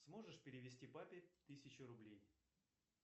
сможешь перевести папе тысячу рублей